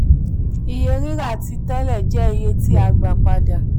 iye rira àtijọ jẹ iye tí a gba pada.